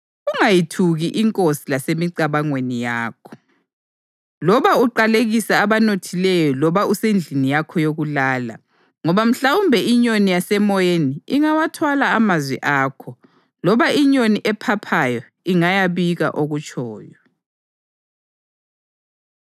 Ungayithuki inkosi lasemicabangweni yakho, loba uqalekise abanothileyo loba usendlini yakho yokulala, ngoba mhlawumbe inyoni yasemoyeni ingawathwala amazwi akho, loba inyoni ephaphayo ingayabika okutshoyo.